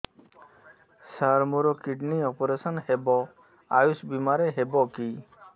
ସାର ମୋର kidney operation ହେବ ଆୟୁଷ ବିମାରେ ହେବ କି